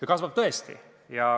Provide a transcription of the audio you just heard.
Ja kasvab tõesti.